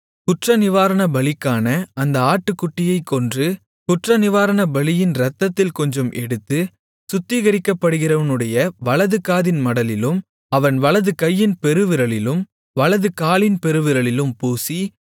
குற்றநிவாரணபலிக்கான அந்த ஆட்டுக்குட்டியைக் கொன்று குற்றநிவாரணபலியின் இரத்தத்தில் கொஞ்சம் எடுத்து சுத்திகரிக்கப்படுகிறவனுடைய வலதுகாதின் மடலிலும் அவன் வலதுகையின் பெருவிரலிலும் வலதுகாலின் பெருவிரலிலும் பூசி